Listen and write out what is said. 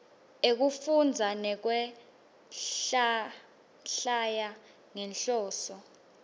ekufundza nekwehlwaya ngenhloso